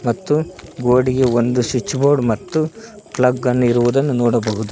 ಮತ್ತು ಗೋಡಿಗೆ ಒಂದು ಸ್ವಿಚ್ ಬೋರ್ಡ್ ಮತ್ತು ಪ್ಲಗ್ಗನ್ನು ಇರುವುದನ್ನು ನೋಡಬಹುದು.